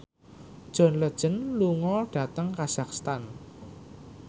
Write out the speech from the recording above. John Legend lunga dhateng kazakhstan